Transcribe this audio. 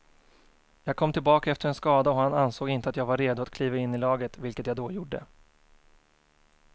Jag kom tillbaka efter en skada och han ansåg inte att jag var redo att kliva in i laget, vilket jag då gjorde.